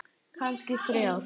Kannski þrjár.